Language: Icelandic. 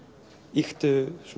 ýktu